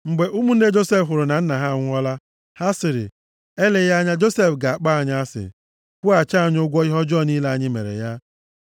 Mgbe ụmụnne Josef hụrụ na nna ha anwụọla, ha sịrị, “Eleghị anya Josef ga-akpọ anyị asị, kwụghachi anyị ụgwọ ihe ọjọọ niile anyị mere ya?”